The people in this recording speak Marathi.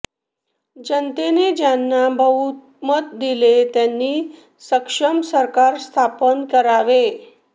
जनतेने ज्यांना बहुमत दिले त्यांनी सक्षम सरकार स्थापन करावे